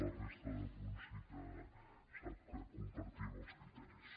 la resta de punts sí que sap que compartim els criteris